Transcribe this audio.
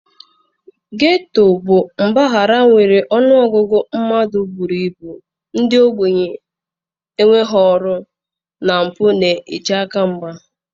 Getoo bụ mpaghara nwere ọnụ ọgụgụ mmadụ buru ibu ndị ogbenye, enweghị ọrụ na mpụ n'eche aka mgba.